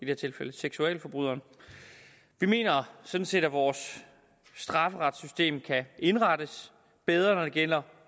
her tilfælde seksualforbryderen vi mener sådan set at vores strafferetssystem kan indrettes bedre når det gælder